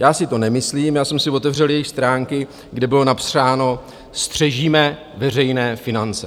Já si to nemyslím, já jsem si otevřel jejich stránky, kde bylo napsáno: Střežíme veřejné finance.